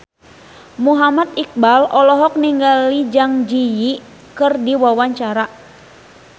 Muhammad Iqbal olohok ningali Zang Zi Yi keur diwawancara